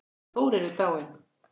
Hann Þórir er dáinn